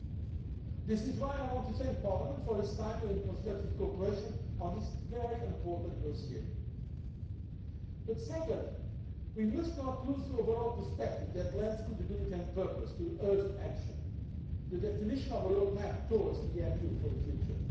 That is why I want to thank Parliament for its timely and constructive cooperation on this important dossier. Secondly, we must not lose the overall perspective that lends credibility and purpose to this urgent action the definition of a roadmap towards EMU for the future.